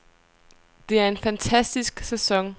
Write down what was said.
Det er en fantastisk sæson.